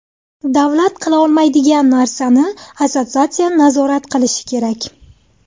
Davlat qila olmaydigan narsani assotsiatsiya nazorat qilish kerak.